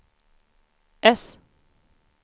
äss